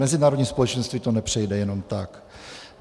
Mezinárodní společenství to nepřejde jenom tak.